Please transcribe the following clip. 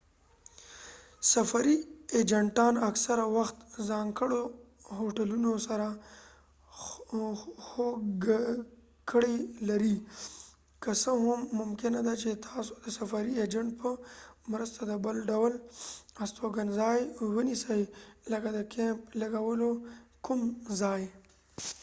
سفري اېجنټان اکثره وخت ځانګړو هوټلونو سره هوکړې لري که څه هم ممکنه ده چې تاسو د سفري اېجنټ په مرسته د بل ډول استوګنځای ونیسئ لکه د کېمپ لګولو کوم ځای